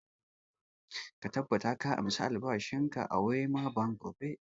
Ka tabbata ka ansa albashin ka a wema bank gobe!